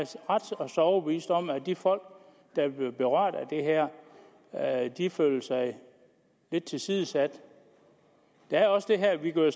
ret så overbevist om at de folk der vil blive berørt af det her føler sig lidt tilsidesat der er også det at vi jo